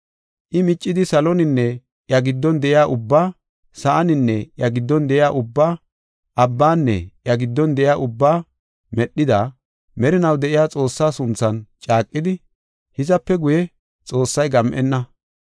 I miccidi saloninne iya giddon de7iya ubbaa, sa7aninne iya giddon de7iya ubbaa, abbanne iya giddon de7iya ubbaa medhida, merinaw de7iya Xoossaa sunthan caaqidi, “Hizape guye, Xoossay gam7enna.